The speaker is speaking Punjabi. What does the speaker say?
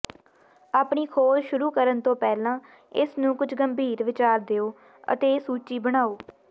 ਆਪਣੀ ਖੋਜ ਸ਼ੁਰੂ ਕਰਨ ਤੋਂ ਪਹਿਲਾਂ ਇਸ ਨੂੰ ਕੁਝ ਗੰਭੀਰ ਵਿਚਾਰ ਦਿਉ ਅਤੇ ਸੂਚੀ ਬਣਾਓ